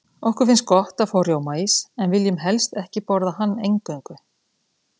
Okkur finnst gott að fá rjómaís, en viljum helst ekki borða hann eingöngu.